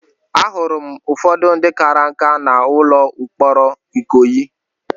Ahụrụ m ụfọdụ ndị kara nkà n'ụlọ mkpọrọ Ikoyi.